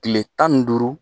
Tile tan ni duuru